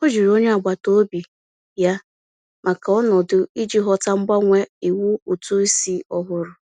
Ọ jụrụ onye agbataobi ya maka ndụmọdụ iji ghọta mgbanwe iwu ụtụisi ọhụrụ.